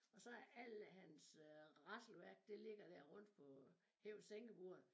Og så alle hans øh rasselværk det ligger dér rundt på hæve-sænke-bordet